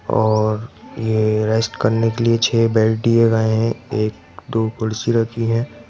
और ये रेस्ट करने के लिए छः बेड दिए गए हैं एक दो कुर्शी रखी हैं।